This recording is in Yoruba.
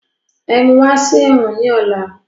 Ẹ̀mú wá sí ẹ̀wọ̀n ni ọ̀la!